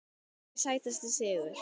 Sætasti sigur?